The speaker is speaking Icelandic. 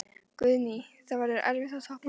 Guðný: Það verður erfitt að toppa þetta?